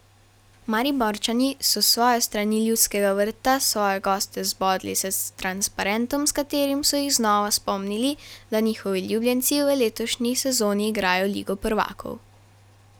Mariborčani so s svoje strani Ljudskega vrta svoje goste zbodli s transparentom, s katerim so jih znova spomnili, da njihovi ljubljenci v letošnji sezoni igrajo ligo prvakov.